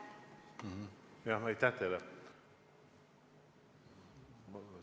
Jah, aitäh teile!